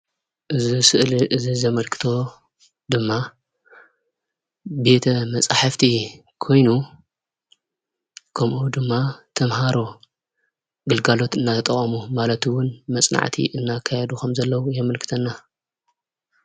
እዚ ስእሊ እዚ ዘመልክቶ ድማ ቤተ መፃሕፍቲ ኮይኑ ከምኡ ድማ ተመሃሮ ግልጋሎት እናተጠቐሙ ማለት እውን መፅናዕቲ እናካየዱ ከምዘለዉ የምልክተና፡፡